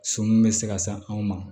Sɔmi bɛ se ka sa anw ma